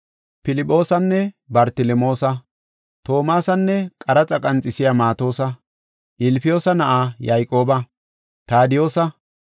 Filphoosanne Bartelemoosa, Toomasanne qaraxa qanxisiya Maatosa, Ilfiyoosa na7aa Yayqooba, Taadiyosa,